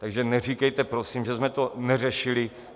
Takže neříkejte prosím, že jsme to neřešili.